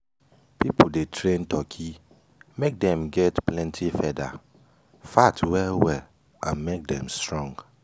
people de train turkey make dem get plenty feather fat well well and make them strong.